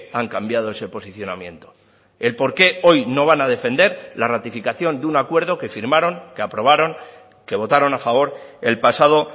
han cambiado ese posicionamiento el por qué hoy no van a defender la ratificación de un acuerdo que firmaron que aprobaron que votaron a favor el pasado